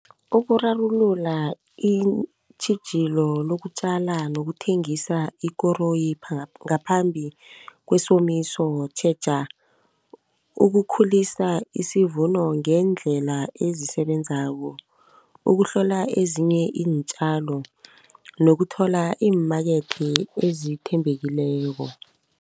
Ukurarulula iintjhijilo lokutjala nokuthengisa ikoroyi ngaphambi kwesomiso, tjheja ukukhulisa isivuno ngendlela ezisebenzisako. Ukuhlola ezinye iintjalo nokuthola iimakethe ezithembekileko.